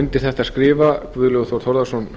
undir þetta skrifa guðlaugur þór þórðarson